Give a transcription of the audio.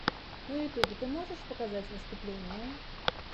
на ютюбе ты можешь показать выступления